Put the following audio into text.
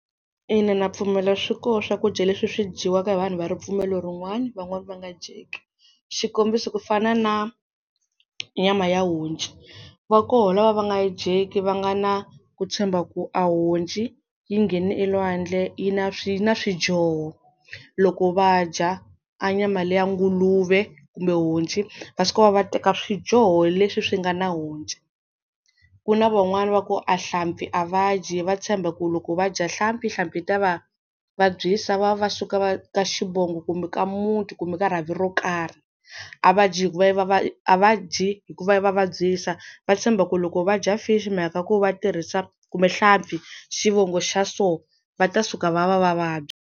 Ina ndza pfumela swi koho swakudya leswi swi dyiwaka hi vanhu va ripfumelo rin'wana van'wani va nga dyeki xikombiso ku fana na nyama ya honci va koho lava va nga yi dyeki va nga na ku tshemba ku a honci yi nghene elwandle yi na swi na swidyoho loko va dya a nyama liya nguluve kumbe honci va suka va va teka swidyoho leswi swi nga na honci ku na van'wani va ku a nhlampfi a va dyi va tshemba ku loko va dya nhlampfi nhlampfi yi ta va vabyisa va va suka va ka xivongo kumbe ka muti kumbe ka rhavi ro karhi, a va dyi hikuva yi va va a va dyi hikuva yi va vabyisa va tshemba ku loko va dya fishi mhaka ku va tirhisa kumbe nhlampfi xivongo xa so va ta suka va va va vabya.